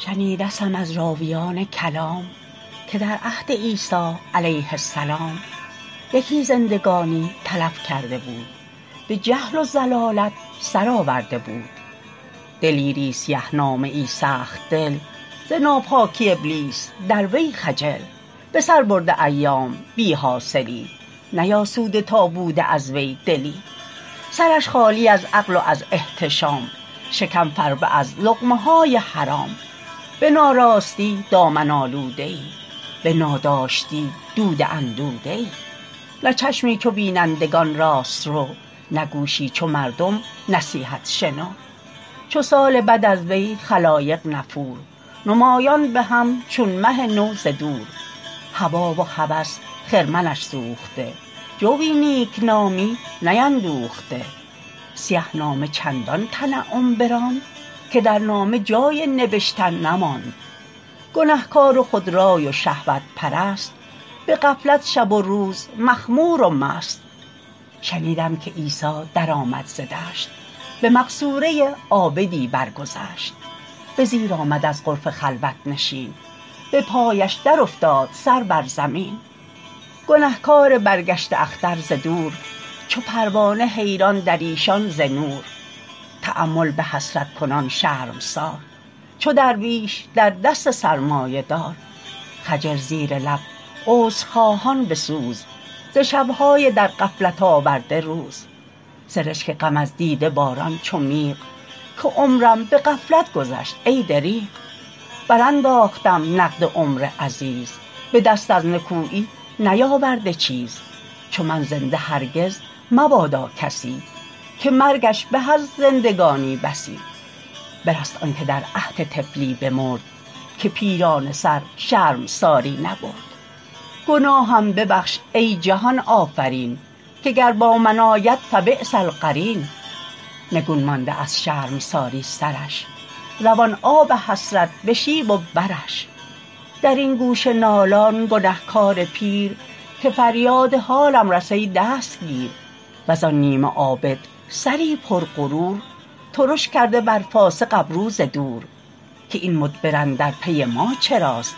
شنیدستم از راویان کلام که در عهد عیسی علیه السلام یکی زندگانی تلف کرده بود به جهل و ضلالت سر آورده بود دلیری سیه نامه ای سخت دل ز ناپاکی ابلیس در وی خجل به سر برده ایام بی حاصلی نیاسوده تا بوده از وی دلی سرش خالی از عقل و از احتشام شکم فربه از لقمه های حرام به ناراستی دامن آلوده ای به ناداشتی دوده اندوده ای نه چشمی چو بینندگان راست رو نه گوشی چو مردم نصیحت شنو چو سال بد از وی خلایق نفور نمایان به هم چون مه نو ز دور هوی و هوس خرمنش سوخته جوی نیکنامی نیندوخته سیه نامه چندان تنعم براند که در نامه جای نبشتن نماند گنهکار و خودرای و شهوت پرست به غفلت شب و روز مخمور و مست شنیدم که عیسی در آمد ز دشت به مقصوره عابدی برگذشت به زیر آمد از غرفه خلوت نشین به پایش در افتاد سر بر زمین گنهکار برگشته اختر ز دور چو پروانه حیران در ایشان ز نور تأمل به حسرت کنان شرمسار چو درویش در دست سرمایه دار خجل زیر لب عذرخواهان به سوز ز شبهای در غفلت آورده روز سرشک غم از دیده باران چو میغ که عمرم به غفلت گذشت ای دریغ بر انداختم نقد عمر عزیز به دست از نکویی نیاورده چیز چو من زنده هرگز مبادا کسی که مرگش به از زندگانی بسی برست آن که در عهد طفلی بمرد که پیرانه سر شرمساری نبرد گناهم ببخش ای جهان آفرین که گر با من آید فبیس القرین نگون مانده از شرمساری سرش روان آب حسرت به شیب و برش در این گوشه نالان گنهکار پیر که فریاد حالم رس ای دستگیر وز آن نیمه عابد سری پر غرور ترش کرده بر فاسق ابرو ز دور که این مدبر اندر پی ما چراست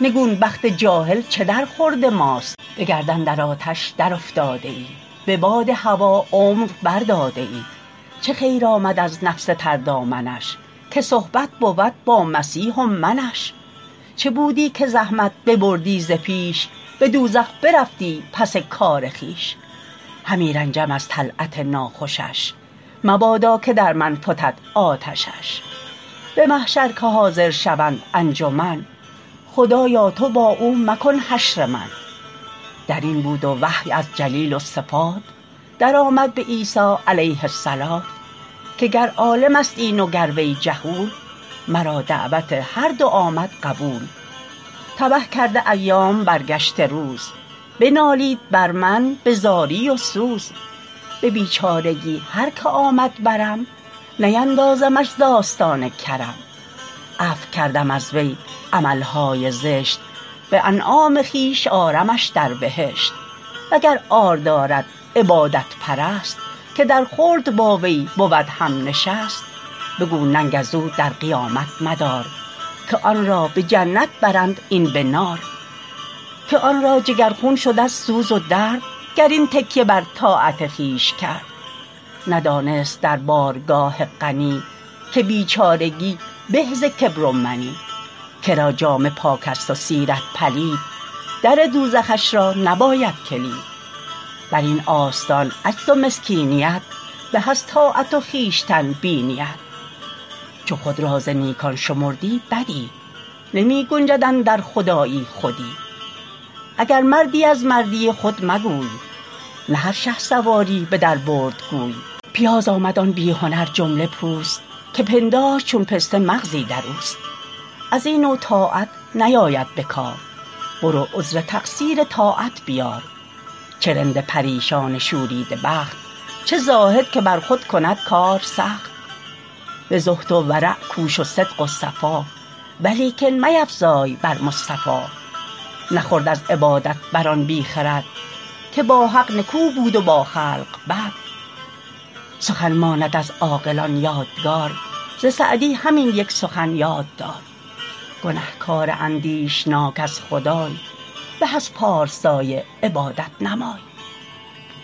نگون بخت جاهل چه در خورد ماست به گردن در آتش در افتاده ای به باد هوی عمر بر داده ای چه خیر آمد از نفس تر دامنش که صحبت بود با مسیح و منش چه بودی که زحمت ببردی ز پیش به دوزخ برفتی پس کار خویش همی رنجم از طلعت ناخوشش مبادا که در من فتد آتشش به محشر که حاضر شوند انجمن خدایا تو با او مکن حشر من در این بود و وحی از جلیل الصفات در آمد به عیسی علیه الصلوة که گر عالم است این و گر وی جهول مرا دعوت هر دو آمد قبول تبه کرده ایام برگشته روز بنالید بر من به زاری و سوز به بیچارگی هر که آمد برم نیندازمش ز آستان کرم عفو کردم از وی عملهای زشت به انعام خویش آرمش در بهشت و گر عار دارد عبادت پرست که در خلد با وی بود هم نشست بگو ننگ از او در قیامت مدار که آن را به جنت برند این به نار که آن را جگر خون شد از سوز و درد گر این تکیه بر طاعت خویش کرد ندانست در بارگاه غنی که بیچارگی به ز کبر و منی کرا جامه پاک است و سیرت پلید در دوزخش را نباید کلید بر این آستان عجز و مسکینیت به از طاعت و خویشتن بینیت چو خود را ز نیکان شمردی بدی نمی گنجد اندر خدایی خودی اگر مردی از مردی خود مگوی نه هر شهسواری به در برد گوی پیاز آمد آن بی هنر جمله پوست که پنداشت چون پسته مغزی در اوست از این نوع طاعت نیاید به کار برو عذر تقصیر طاعت بیار چه رند پریشان شوریده بخت چه زاهد که بر خود کند کار سخت به زهد و ورع کوش و صدق و صفا ولیکن میفزای بر مصطفی نخورد از عبادت بر آن بی خرد که با حق نکو بود و با خلق بد سخن ماند از عاقلان یادگار ز سعدی همین یک سخن یاد دار گنهکار اندیشناک از خدای به از پارسای عبادت نمای